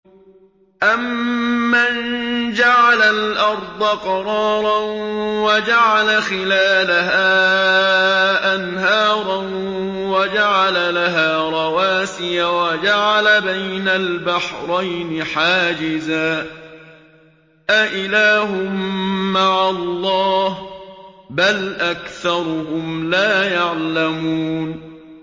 أَمَّن جَعَلَ الْأَرْضَ قَرَارًا وَجَعَلَ خِلَالَهَا أَنْهَارًا وَجَعَلَ لَهَا رَوَاسِيَ وَجَعَلَ بَيْنَ الْبَحْرَيْنِ حَاجِزًا ۗ أَإِلَٰهٌ مَّعَ اللَّهِ ۚ بَلْ أَكْثَرُهُمْ لَا يَعْلَمُونَ